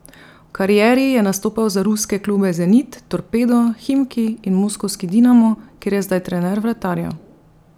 V karieri je nastopal za ruske klube Zenit, Torpedo, Himki in moskovski Dinamo, kjer je zdaj trener vratarjev.